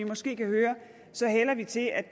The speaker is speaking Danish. måske kan høre hælder vi til at